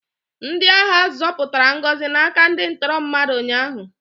Ndị agha zọpụtara Ngozi n'aka ndị ntọrọ mmadụ ụnyaahụ.